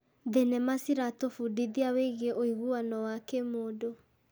Thenema ciratũbundithia wĩgiĩ ũiguano wa kĩmũndũ.